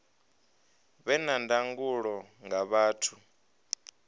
vhe na ndangulo nga vhathu